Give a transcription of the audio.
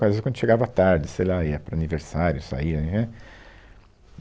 Às vezes quando chegava tarde, sei lá, ia para aniversário, saía, nhã nhã